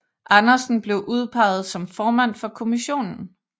Andersen blev udpeget som formand for kommissionen